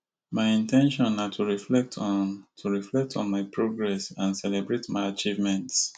my in ten tion na to reflect on to reflect on my progress and celebrate my achievements